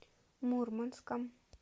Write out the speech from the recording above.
мурманском